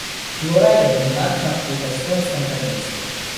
Flora je dominantna v estonskem prvenstvu.